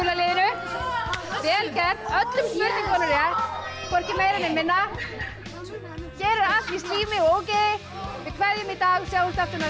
liðinu vel gert öllum spurningunum rétt hvorki meira né minna hér er allt í slími og ógeði við kveðjum í dag sjáumst aftur næsta